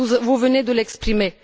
Vous venez de l'exprimer.